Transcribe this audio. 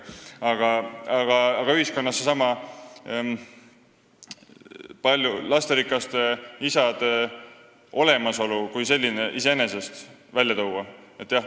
Aga võiks ühiskonnas iseenesest lasterikaste isade olemasolu kui sellise välja tuua.